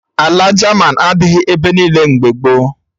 Ala jaman adịghị ebe niile mgbe gboo